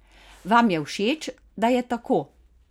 Vam je všeč, da je tako?